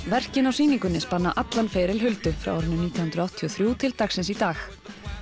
verkin á sýningunni spanna allan feril Huldu frá árinu nítján hundruð áttatíu og þrjú til dagsins í dag